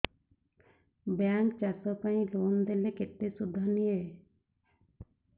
bank ଚାଷ ପାଇଁ loan ଦେଲେ କେତେ ସୁଧ ନିଏ